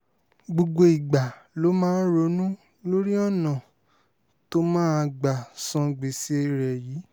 gbogbo ìgbà ló máa ń ronú lórí ọ̀nà tó máa gbà san gbèsè rẹ̀ yìí